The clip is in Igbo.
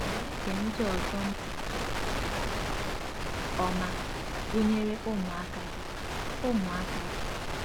Ị̀ na-ege ndị ọzọ ntị nke ọma, gụnyere ụmụaka gị? ụmụaka gị?